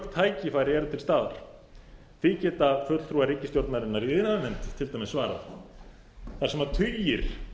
tækifæri eru til staðar því geta fulltrúar ríkisstjórnarinnar í iðnaðarnefnd til dæmis svarað þar sem tugir